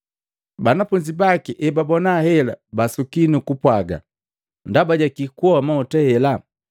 Banafunzi baki ebabona hela basuki nukupwaga, “Ndaba ja kii kuhoa mahuta hela?